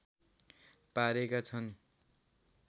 पारेका छन्